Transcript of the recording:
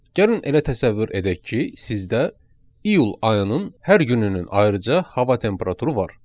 Gəlin elə təsəvvür edək ki, sizdə iyul ayının hər gününün ayrıca hava temperaturu var.